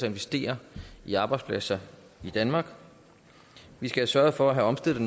investere i arbejdspladser i danmark vi skal sørge for at omstille